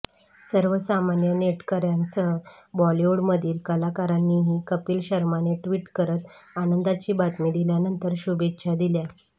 सर्वसामान्य नेटकऱ्यांसह बॉलिवडूमधील कलाकारांनीही कपिल शर्माने ट्विट करत आनंदाची बातमी दिल्यानंतर शुभेच्छा दिल्या